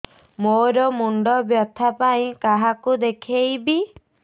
ମୋର ମୁଣ୍ଡ ବ୍ୟଥା ପାଇଁ କାହାକୁ ଦେଖେଇବି